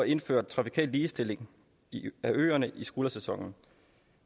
indfører trafikal ligestilling af øerne i skuldersæsonen